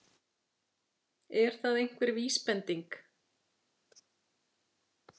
Er það einhver vísbending?